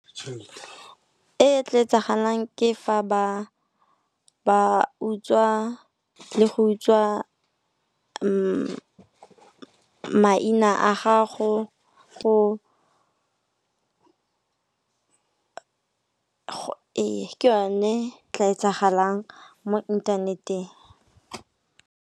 E e tla etsagalang ke fa ba utswa le go utswa maina a ga go e Ke yone tla etsagalang mo inthaneteng.